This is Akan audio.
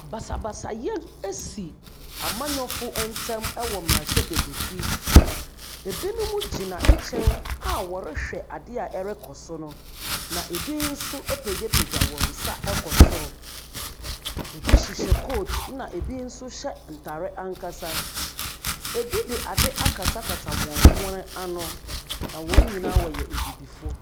Basabasaeɛ bi asi amannyɔfo ntam wɔ mmarahyɛbaguafi. Binom gyina nkyɛn a wɔrehwɛ adeɛ a ɛrekɔ so no, na ebi nso apagyapagya wɔn nsa akɔ soro. Ebi hyehyɛ coat ɛnna ebi nso hyɛ ntare ankasa. Ebi de ade akatakata wɔn hwene ano, na wɔn nyinaa yɛ abibifoɔ.